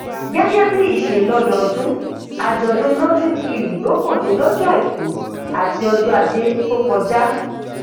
gẹgẹ bí ìṣẹ lọdọọdún àjọdún notting hill ló gbọde lọjọ àìkú àti ọjọ ajé tó kọjá